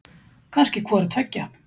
Kannski hvoru tveggja.